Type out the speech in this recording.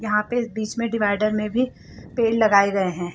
यहां पे बीच में डिवाइडर में भी पेड़ लगाए गए हैं।